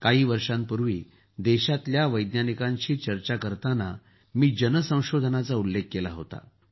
काही वर्षांपूर्वी देशाच्या वैज्ञानिकांशी चर्चा करताना मी जन संशोधनचा उल्लेख केला होता